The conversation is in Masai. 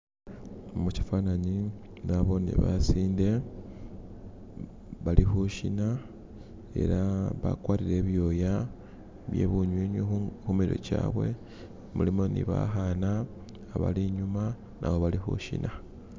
Mushifananyi nabone basinde balikushina ela bagwatile ibyoya byebunyunyi kumitwe gyawe mulimo nibakana bali inyuma nabo balikushina.